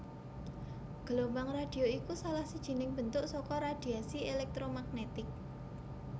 Gelombang radhio iku salah sijining bentuk saka radhiasi élèktromagnètik